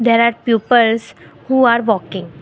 there are peoples who are walking.